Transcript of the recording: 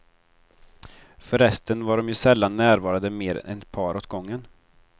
För resten var de ju sällan närvarande mer än ett par åt gången.